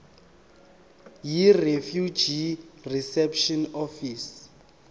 yirefugee reception office